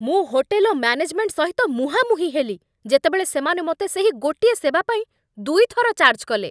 ମୁଁ hotel management ସହିତ ମୁହାଁମୁହିଁ ହେଲି ଯେତେବେଳେ ସେମାନେ ମୋତେ ସେହି ଗୋଟିଏ ସେବା ପାଇଁ ଦୁଇଥର ଚାର୍ଜ କଲେ